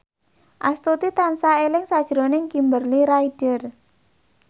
Astuti tansah eling sakjroning Kimberly Ryder